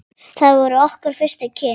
Það voru okkar fyrstu kynni.